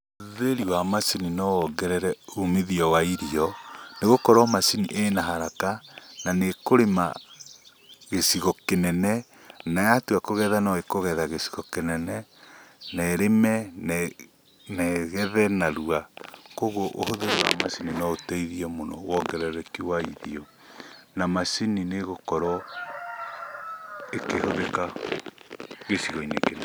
Ũhũthĩri wa macini no wongerere umithio wa irio, nĩgũkorwo macini ĩna haraka na nĩ ĩkũrĩma gĩcigo kĩnene, na yatua kũgetha no ĩkũgetha gĩcigo kĩnene, na ĩrĩme na ĩgethe narua. Koguo ũhũthĩri wa macini no ũteithie mũno wongerereki wa irio, na macini nĩ ĩgũkorwo ĩkĩhũthĩka gĩcigo-inĩ kĩnene.